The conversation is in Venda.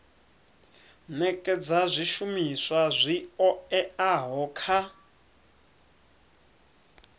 nekedza zwishumiswa zwi oeaho kha